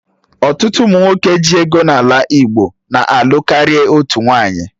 Ọtụtụ ụmụ nwoke ji ego n'ala Igbo na-alụ karịa otú nwaanyị